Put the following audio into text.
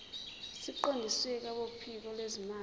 siqondiswe kwabophiko lwezimali